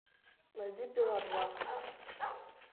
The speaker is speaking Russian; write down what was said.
найди пила два